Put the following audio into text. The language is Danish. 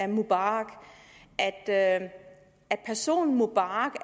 mubarak at at personen mubarak